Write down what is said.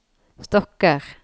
stokker